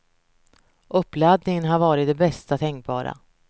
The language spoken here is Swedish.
Uppladdningen har varit den bästa tänkbara.